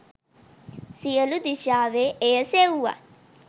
සියළු දිශාවේ එය සෙව්වත්